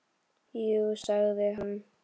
Jú sagði hann.